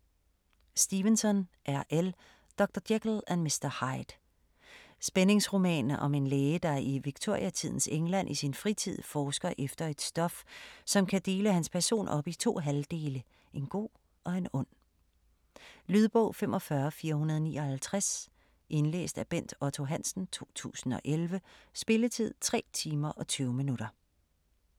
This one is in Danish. Stevenson, R. L.: Dr. Jekyll og Mr. Hyde Spændingsroman om en læge, der i Victoriatidens England i sin fritid forsker efter et stof, som kan dele hans person op i 2 halvdele, en god og en ond. Lydbog 45459 Indlæst af Bent Otto Hansen, 2011. Spilletid: 3 timer, 20 minutter.